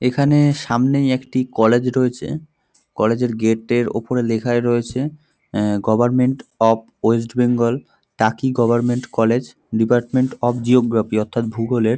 এখানে সামনে একটি কলেজ রয়েছে কলেজ -এর গেট -এর উপরে লেখাই রয়েছে a government of West Bengal Taki government college department of geography অর্থাৎ ভূগোলের।